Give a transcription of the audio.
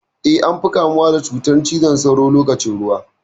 Eh, an fi kamuwa da cutar cizon sauron lokacin ruwa.